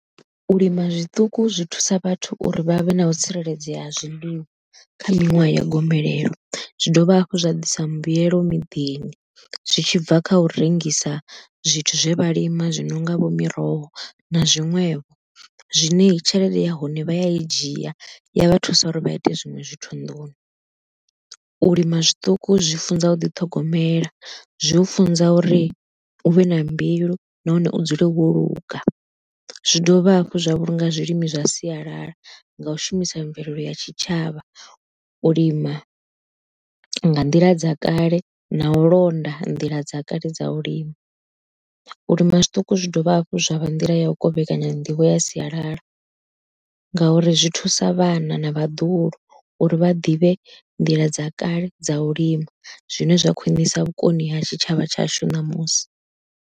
U lima zwiṱuku zwi thusa vhathu uri vha vhe na u tsireledzea ha zwiḽiwa kha miṅwaha ya gomelelo, zwi dovha hafhu zwa ḓisa mbuyelo miḓini zwi tshibva kha u rengisa zwithu zwe vha lima zwino nga vho miroho na zwiṅwevho. Zwine tshelede ya hone vha ya i dzhia ya vha thusa uri vha ite zwiṅwe zwithu nḓuni, u lima zwiṱuku zwi funza u ḓi ṱhogomela zwi u funza uri u vhe na mbilu nahone u dzule wo luga, zwi dovha hafhu zwa vhulunga zwilimi zwa sialala nga u shumisa mvelelo ya tshitshavha u lima nga nḓila dza kale na u londa nḓila dza kale dza u lima. U lima zwiṱuku zwi dovha hafhu zwa vha nḓila ya u kovhekanya nḓivho ya sialala, ngauri zwi thusa vhana na vhaḓuhulu uri vha ḓivhe nḓila dza kale dza u lima, zwine zwa khwiṋisa vhukoni ha tshitshavha tshashu ṋamusi.